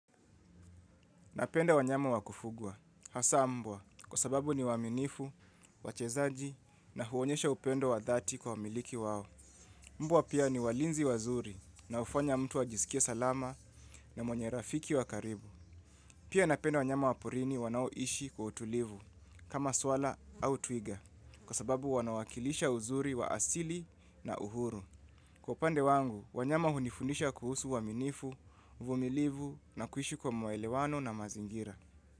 Napenda wanyama wa kufugwa, hasa mbwa, kwa sababu ni waaminifu, wachezaji na huonyesha upendo wa dhati kwa wamiliki wao. Mbwa pia ni walinzi wazuri na hufanya mtu ajisikie salama na mwenye rafiki wa karibu. Pia napenda wanyama wa porini wanaoishi kwa utulivu, kama swara au twiga, kwa sababu wanawakilisha uzuri wa asili na uhuru. Kwa upande wangu, wanyama hunifundisha kuhusu uaminifu, uvumilivu na kuishi kwa mwelewano na mazingira.